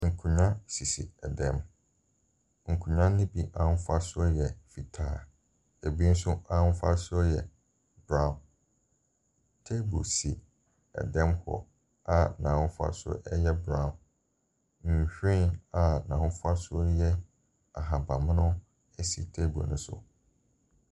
Nkonnwa sisi ɛdan mu, nkonnwa no bi ahofasuo yɛ fitaa, ɛbinso ahofasuo yɛ brown. Table si ɛdan mu hc a n'ahofasuo yɛ brown. Nhwiren a n'ahofasuo yɛ ahabammono si table no so.